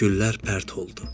Güllər pərt oldu.